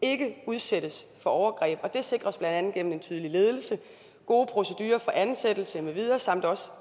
ikke udsættes for overgreb og det sikres blandt andet gennem en tydelig ledelse gode procedurer for ansættelse